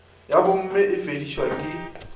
ya bomme e befedišwa ke